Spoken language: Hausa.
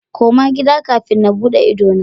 Koma gida kafin na bude idona.